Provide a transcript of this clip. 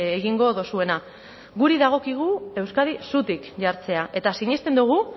gingo duzuena guri dagokigu euskadi zutik jartzea